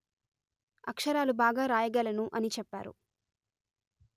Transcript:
అక్షరాలు బాగా రాయగలను అని చెప్పారు